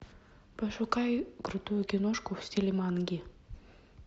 пошукай крутую киношку в стиле манги